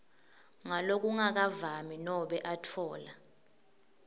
ngalokungakavami nobe atfola